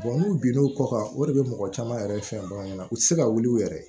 n'u bin n'o kɔ kan o de bɛ mɔgɔ caman yɛrɛ fɛn baganw ɲɛna u tɛ se ka wuli u yɛrɛ ye